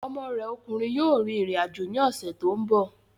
Ọmọ rẹ ọkùnrin yóò rìn rìn àjò ní ọ̀sẹ̀ tó ń bọ̀